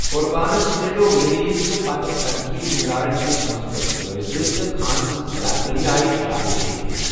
قربانَس مِلٮ۪وٚو ریلیزٕ تہٕ پتہٕ تَنقیٖد نِگارَن نِش مثبت جٲیزٕ، تہٕ خانہٕ سٕنٛز اداکٲری آیہِ شابٲشی دِنہٕ۔